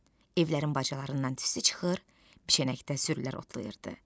Evlərin bacalarından tüstü çıxır, biçənəkdə sürülər otlayırdı.